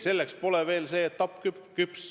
Selleks pole aeg veel küps.